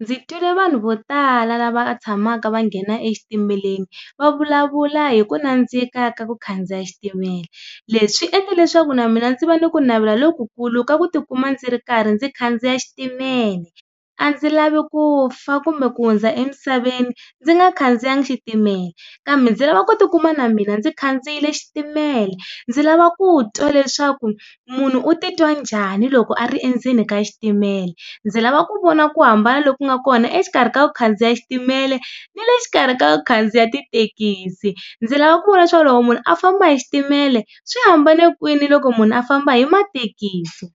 Ndzi twile vanhu vo tala lava tshamaka va nghena exitimeleni va vulavula hi ku nandzika ka ku khandziya xitimela. Leswi swi endla leswaku na mina ndzi va na ku navela lokukulu ka ku tikuma ndzi ri karhi ndzi khandziya xitimele, a ndzi lavi ku fa kumbe ku hundza emisaveni ndzi nga khandziyanga xitimela, kambe ndzi lava ku ti kuma na mina ndzi khandziyile xitimela. Ndzi lava ku twa leswaku munhu u titwa njhani loko a ri endzeni ka xitimela, ndzi lava ku vona ku hambana lo ku nga kona exikarhi ka ku khandziya xitimele ni le xikarhi ka ku khandziya tithekisi, ndzi lava ku vona leswaku loko munhu a famba hi xitimele swi hambane kwihi na loko munhu a famba hi mathekisi.